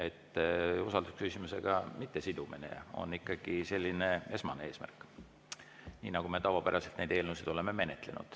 Ehk usaldusküsimusega mittesidumine on ikkagi esmane eesmärk, nii nagu me tavapäraselt eelnõusid olemegi menetlenud.